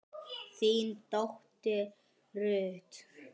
þín dóttir Ruth.